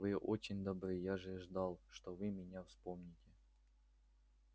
вы очень добры я же ждал что вы меня вспомните